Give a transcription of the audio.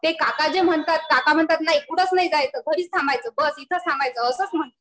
ते काका जे म्हणतात काका म्हणतात कुठंच नाही जायचं. बस इथंच थांबायचं. असंच म्हणतात.